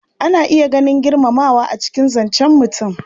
Ana iya ganin girmamawa a cikin zancen mutum.